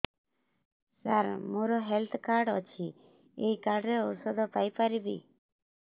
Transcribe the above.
ସାର ମୋର health card ଅଛି ଏହି କାର୍ଡ ରେ ଔଷଧ ପାଇପାରିବି